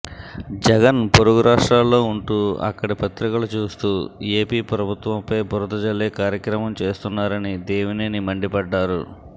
జగన్ పొరుగు రాష్ట్రాల్లో ఉంటూ అక్కడ పత్రికలు చూస్తూ ఏపీ ప్రభుత్వంపై బురద జల్లే కార్యక్రమం చేస్తున్నారని దేవినేని మండిపడ్డారు